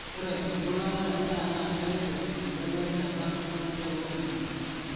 ore embulata endaa naa keret embelekenyata enkijape oloingange